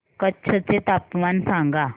कच्छ चे तापमान सांगा